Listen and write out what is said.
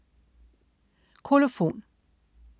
Kolofon